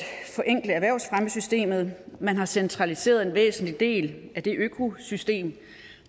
forenkle erhvervsfremmesystemet man har centraliseret en væsentlig del af det økosystem